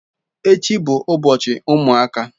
Echi bu ubochi umuaka.